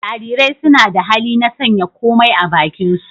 Jarirai suna da hali na sanya komai a bakinsu.